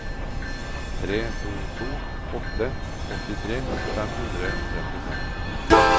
tre to to åtte åttitre fem hundre og trettifem